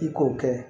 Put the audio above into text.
I k'o kɛ